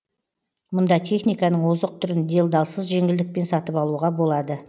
мұнда техниканың озық түрін делдалсыз жеңілдікпен сатып алуға болады